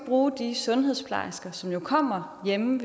bruge de sundhedsplejersker som jo kommer hjemme